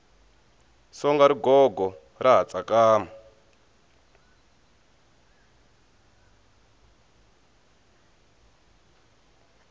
songa rigogo ra ha tsakama